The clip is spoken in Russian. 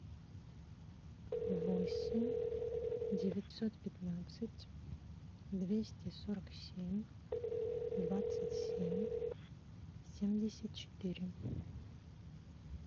восемь девятьсот пятнадцать двести сорок семь двадцать семь семьдесят четыре